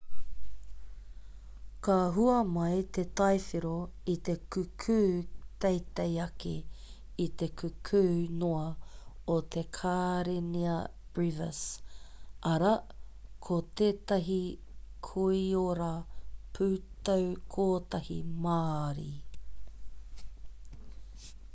ka hua mai te tai whero i te kukū teitei ake i te kukū noa o te karenia brevis arā ko tētahi koiora pūtau-kotahi māori